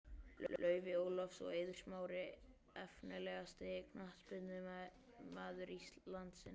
Laufey Ólafs og Eiður Smári Efnilegasti knattspyrnumaður landsins?